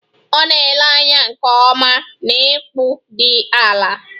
Ọ na-ele anya nke ọma na ịkpụ dị ala